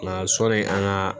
Nka sɔnni an ka